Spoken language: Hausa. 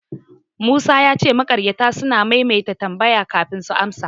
Musa ya ce makaryata suna maimaita tambaya kafin su amsa.